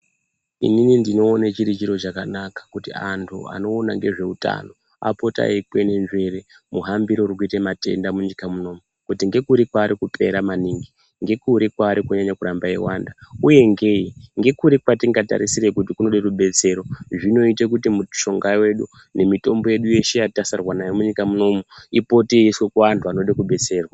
Inini ndinogona chiri chiro chakanaka kuti antu anoona ngezveutano apote veikwenenzvere muhambire urikuite matenda munyika munomu kuti ngekuri kwaari kupera maningi, ngekuri kwaari kunyanya kurambe eiwanda uye ngei. Ngekuri kwetingatarisire kuti kunode rubetsero. Zvinoite kuti mitombo yedu yeshe yatasarirwa nayo munyika munomu ipote yeiiswe kuvanhu vanoda kubetserwa.